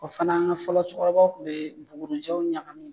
O fana fɔlɔ cɛkɔrɔba kun bɛ bugurijɛw ɲagamin.